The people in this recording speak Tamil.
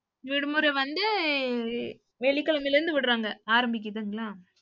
விடுமுறை வந்து, வெள்ளிக்கிழமையில இருந்து விடுறாங்க. ஆரம்பிக்குதுங்களா